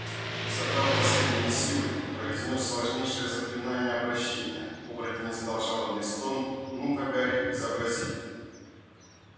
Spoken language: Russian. собрав последние силы произнёс сложнейшее заклинание обращения оборотень издал жалобный стон ну-ка гарри изобрази